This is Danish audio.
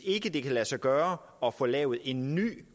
ikke kan lade sig gøre at få lavet en ny